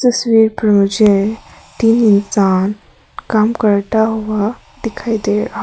तस्वीर पर मुझे तीन इंसान काम करता हुआ दिखाई दे रहा--